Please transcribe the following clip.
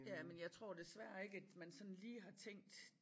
Ja men jeg tror desværre ikke at man sådan lige har tænkt